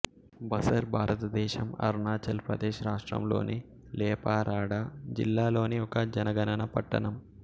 బసర్ భారతదేశం అరుణాచల్ ప్రదేశ్ రాష్ట్రంలోని లేపా రాడా జిల్లా లోని ఒక జనగణన పట్టణం